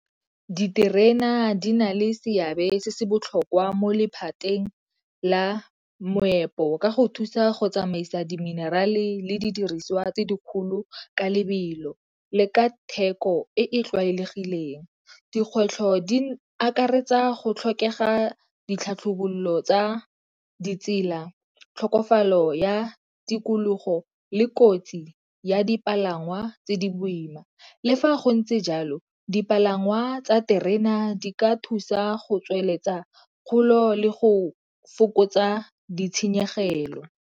Diterena di na le seabe se se botlhokwa mo lephateng la moepo ka go thusa go tsamaisa di-minerale le di diriswa tse dikgolo ka lebelo leka theko e tlwaelegileng. Dikgwetlho di akaretsa go tlhokega ditlhatlhobololo tsa ditsela, tlhokofalo ya tikologo le kotsi ya dipalangwa tse di boima. Le fa go ntse jalo dipalangwa tsa terena di ka thusa go tsweletsa kgolo le go fokotsa ditshenyegelo.